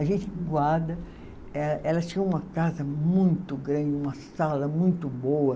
A gente guarda. Eh, ela tinha uma casa muito grande, uma sala muito boa.